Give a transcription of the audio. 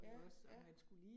Ja, ja